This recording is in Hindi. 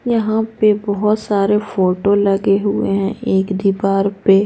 यहां पे बहुत सारे फोटो लगे हुए हैं एक दीवार पे।